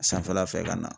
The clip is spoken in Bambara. Sanfɛla fɛ ka na